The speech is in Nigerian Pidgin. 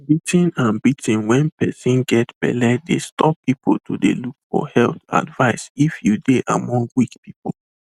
beating beating when persin get belle dey stop people to de look for health advice if you dey among weak people